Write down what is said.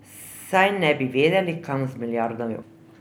Saj ne bi vedeli, kam z milijardami.